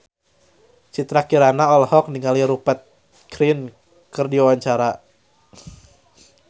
Citra Kirana olohok ningali Rupert Grin keur diwawancara